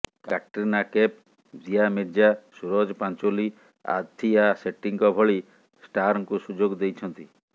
କ୍ୟାଟ୍ରିନା କୈଫ୍ ଦିଆ ମିର୍ଜା ସୁରଜ ପଞ୍ଚୋଲି ଆଥିଆ ସେଟ୍ଟୀଙ୍କ ଭଳି ଷ୍ଟାର୍ଙ୍କୁ ସୁଯୋଗ ଦେଇଛନ୍ତି